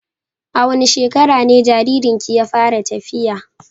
A wane shekara ne jaririnki ya fara tafiya?